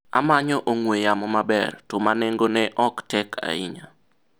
amanyo ong'we yamo maber, to ma nengo ne ok tek ahinya